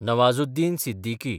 Nawazuddin Siddiqui